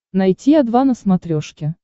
найти о два на смотрешке